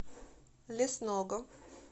лесного